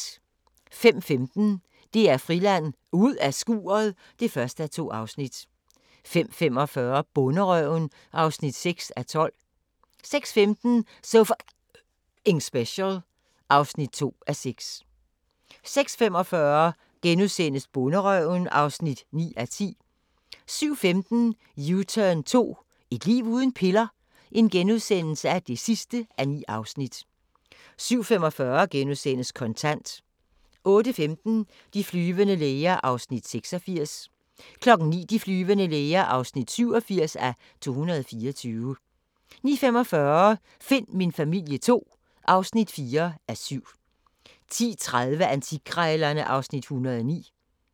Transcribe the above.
05:15: DR Friland: Ud af skuret (1:2) 05:45: Bonderøven (6:12) 06:15: So F***ing Special (2:6) 06:45: Bonderøven (9:10)* 07:15: U-turn 2 - et liv uden piller? (9:9)* 07:45: Kontant * 08:15: De flyvende læger (86:224) 09:00: De flyvende læger (87:224) 09:45: Find min familie II (4:7) 10:30: Antikkrejlerne (Afs. 109)